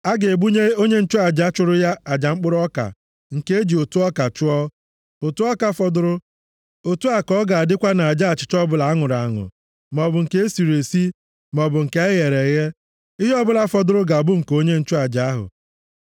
A ga-ebunye onye nchụaja chụrụ aja mkpụrụ ọka nke e ji ụtụ ọka chụọ, ụtụ ọka fọdụrụ. Otu a ka ọ ga-adịkwa nʼaja achịcha ọbụla a nụrụ anụ, maọbụ nke e siri esi, maọbụ nke e ghere eghe. Ihe ọbụla fọdụrụ ga-abụ nke onye nchụaja ahụ.